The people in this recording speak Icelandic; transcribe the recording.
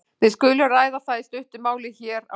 Við skulum ræða það í stuttu máli hér á eftir.